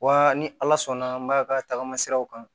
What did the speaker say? Wa ni ala sɔnna an b'a ka tagama siraw kan